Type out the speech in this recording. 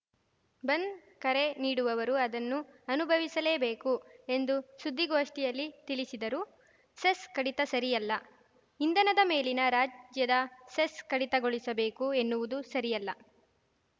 ಬಂದ್‌ ಕರೆ ನೀಡುವವರು ಅದನ್ನು ಅನುಭವಿಸಲೇಬೇಕು ಎಂದು ಸುದ್ದಿಗೋಷ್ಠಿಯಲ್ಲಿ ತಿಳಿಸಿದರು ಸೆಸ್‌ ಕಡಿತ ಸರಿಯಲ್ಲ ಇಂಧನದ ಮೇಲಿನ ರಾಜ್ಯದ ಸೆಸ್‌ ಕಡಿತಗೊಳಿಸಬೇಕು ಎನ್ನುವುದು ಸರಿಯಲ್ಲ